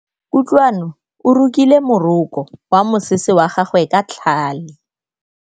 Kutlwanô o rokile morokô wa mosese wa gagwe ka tlhale.